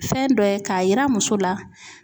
Fɛn dɔ ye k'a yira muso la.